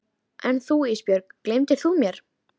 En þú Ísbjörg, gleymir þú mér?